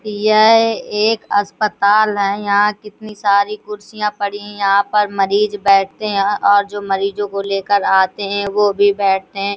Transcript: यह एक अस्पताल है यहाँ कितनी सारी कुर्सियाँ पड़ी है यहाँ पे मरीज बैठते है और जो मरीजों को लेकर आते है वो भी बैठते हैं।